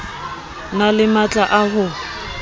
na le matla a ho